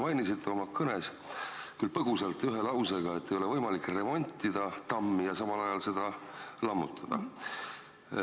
Te mainisite oma kõnes, küll põgusalt, ühe lausega, et ei ole võimalik remontida tammi ja samal ajal seda lammutada.